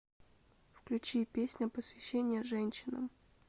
включи песня посвящение женщинам